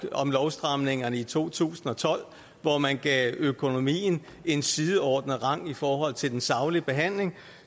om lovstramningerne i to tusind og tolv hvor man gav økonomien en sideordnet rang i forhold til den saglige behandling